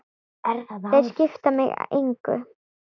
Þeir skipta mig engu.